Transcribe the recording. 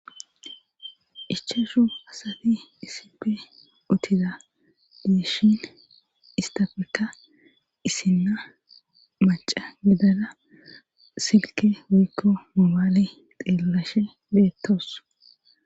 Ichashu asati isipe utida diishin istafeka isinna maca gidala silke wikko mobaale xeelashe beettoos.